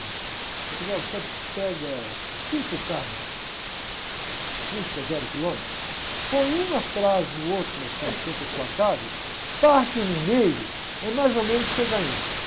Ele falou, olha, você pega cinco carros, fusca zero quilômetro, põe um atrás do outro, assim, na frente da sua casa, parte no meio, é mais ou menos o que você ganhou.